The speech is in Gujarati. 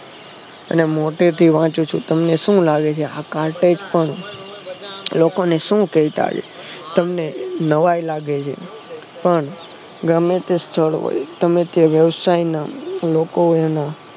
અને મોઢેથી વાંચું છુ તમને શું લાગે છે આતો કાટ જ છે લોકોને શું કેહતા હશે તમને નવાઈ લાગે છે પણ ગમેતે સ્થળ હોય ગમે તે વ્યવસાય નાં લોકો